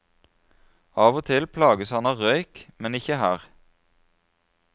Av og til plages han av røyk, men ikke her.